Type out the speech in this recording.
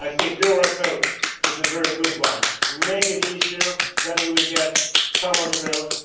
Your approach is a very good one make it easier, then we will get some of the growth